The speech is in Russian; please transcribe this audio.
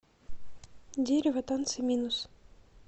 дерево танцы минус